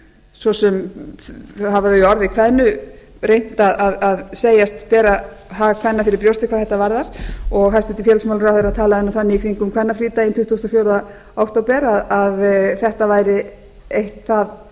svo sem hafa þau í orði kveðnu reynt að segjast bera hag kvenna fyrir brjósti hvað þetta varðar og hæstvirtur félagsmálaráðherra talaði nú þannig í kringum kvennafrídaginn tuttugasta og fjórða október að þetta væri eitt það